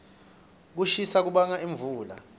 kushisa kubanga imfula